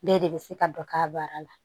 Bɛɛ de bɛ se ka dɔ k'a baara la